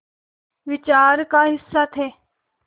विचार का हिस्सा थे